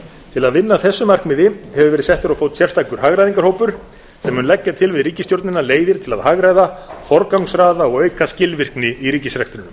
til að vinna að þessu markmiði hefur verið settur á fót sérstakur hagræðingarhópur sem mun leggja til við ríkisstjórnina leiðir til að hagræða forgangsraða og auka skilvirkni í ríkisrekstrinum